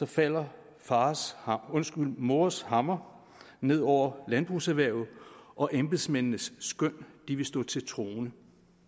falder fars hammer undskyld mors hammer ned over landbrugserhvervet og embedsmændenes skøn vil stå til troende